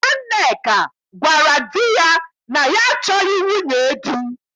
Nwanneka gwarav di ya na ya achọghị nwunye di.